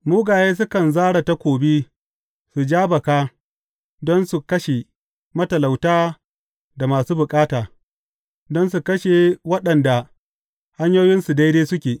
Mugaye sukan zare takobi su ja baka don su kashe matalauta da masu bukata, don su kashe waɗanda hanyoyinsu daidai suke.